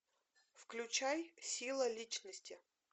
включай сила личности